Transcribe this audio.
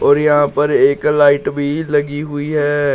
और यहां पर एक लाइट भी लगी हुई है।